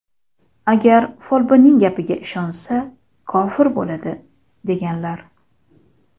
Agar folbinning gapiga ishonsa, kofir bo‘ladi” , deganlar.